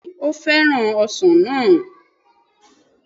Bẹ́ẹ̀ni ó fẹ́ràn ọsàn náà